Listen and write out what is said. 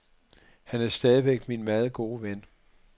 Han er stadigvæk min meget gode ven.